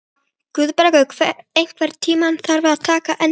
Guðbergur, einhvern tímann þarf allt að taka enda.